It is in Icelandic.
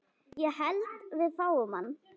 Ég held við fáum hann.